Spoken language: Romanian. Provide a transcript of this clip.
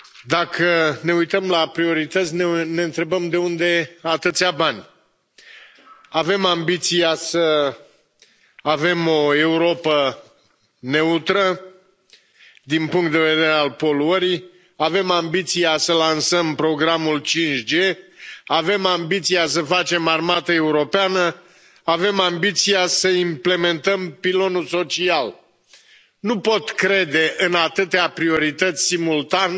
Domnule președinte, am privit programul Comisiei. Dacă ne uităm la priorități, ne întrebăm de unde atâția bani. Avem ambiția să avem o Europă neutră din punct de vedere al poluării. Avem ambiția să lansăm programul 5G. Avem ambiția să facem armată europeană. Avem ambiția să implementăm Pilonul social. Nu pot crede în atâtea priorități simultan